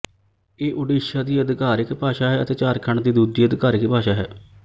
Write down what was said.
ਇਹ ਓਡਿਸ਼ਾ ਦੀ ਆਧਿਕਾਰਿਕ ਭਾਸ਼ਾ ਹੈ ਅਤੇ ਝਾਰਖੰਡ ਦੀ ਦੂਜੀ ਆਧਿਕਾਰਿਕ ਭਾਸ਼ਾ ਹੈ